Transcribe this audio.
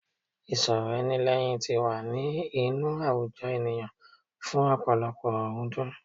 Ìsọ̀rọ̀ ẹni lẹ́hìn ti wà ní inú àwùjọ ènìyàn fún ọ̀pọ̀lọpọ̀ ọ̀rúndún.